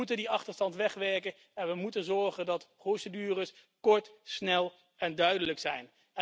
We moeten die achterstand wegwerken en ervoor zorgen dat de procedures kort, snel en duidelijk zijn.